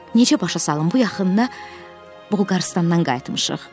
Necə başa salım, bu yaxında Qırğızıstandan qayıtmışıq.